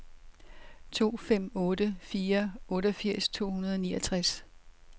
to fem otte fire otteogfirs to hundrede og niogtres